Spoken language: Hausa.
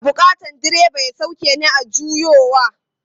Ina bukatan direba ya sauke ni a juyowa.